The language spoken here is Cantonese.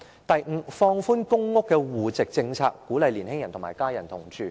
第五，放寬公屋的戶籍政策，鼓勵年青人與家人同住。